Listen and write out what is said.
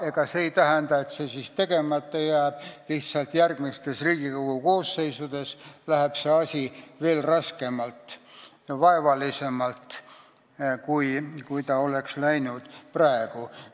Ega see ei tähenda, et see siis tegemata jääb, lihtsalt järgmistes Riigikogu koosseisudes läheb see asi veel raskemalt ja vaevalisemalt, kui see oleks läinud praegu.